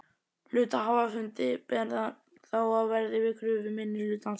Hluthafafundi ber þá að verða við kröfu minnihlutans.